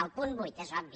el punt vuit és obvi